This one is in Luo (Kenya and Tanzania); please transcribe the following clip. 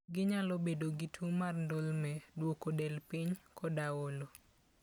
Ginyalo bedo gi tuwo mar ndulme, duoko del piny, koda olo.